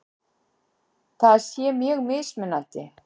Það sé mjög mismunandi